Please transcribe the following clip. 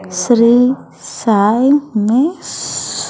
Shri Sai నిస్.